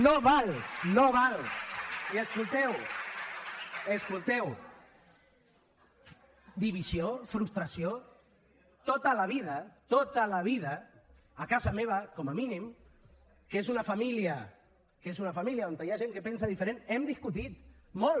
no val no val i escolteu divisió frustració tota la vida tota la vida a casa meva com a mínim que és una família on hi ha gent que pensa diferent hem discutit molt